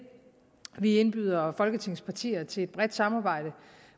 vi indbyder folketingets partier til et bredt samarbejde